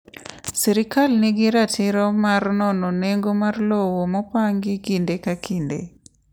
Sirkal nigi ratiro mar nono nengo mar lowo ma opangi kinde ka kinde.